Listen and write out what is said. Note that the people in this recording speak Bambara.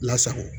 Lasago